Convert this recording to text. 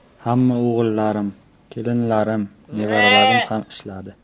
Hamma o‘g‘illarim, kelinlarim, nevaralarim ham ishladi.